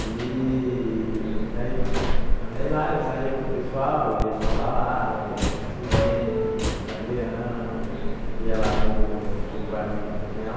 E... Daí ah daí lá eu saía com o pessoal, eu ia para balada, ia para o Sirena, ia para o Galeão, ia lá para o para o barzinho que tinha lá,